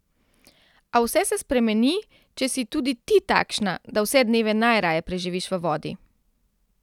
A vse se spremeni, če si tudi ti takšna, da vse dneve najraje preživiš v vodi!